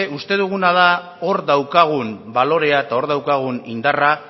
uste duguna da hor daukagun balorea eta hor daukagun indarra